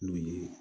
N'u ye